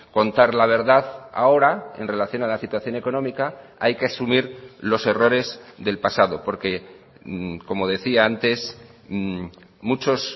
contar la verdad ahora en relación a la situación económica hay que asumir los errores del pasado porque como decía antes muchos